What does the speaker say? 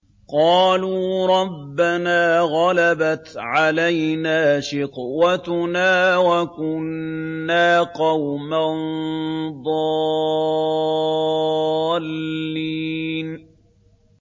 قَالُوا رَبَّنَا غَلَبَتْ عَلَيْنَا شِقْوَتُنَا وَكُنَّا قَوْمًا ضَالِّينَ